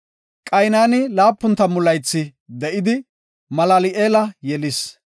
Qaynani 70 laythi de7idi, Malal7eela yelis.